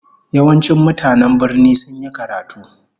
Yawancin mutanen birnin sun yi karatu